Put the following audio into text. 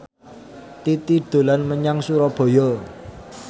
Titi dolan menyang Surabaya